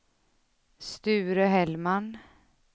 Sture Hellman